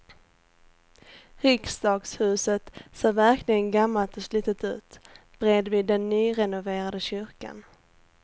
Riksdagshuset ser verkligen gammalt och slitet ut bredvid den nyrenoverade kyrkan.